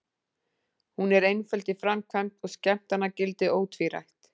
Hún er einföld í framkvæmd og skemmtanagildið ótvírætt.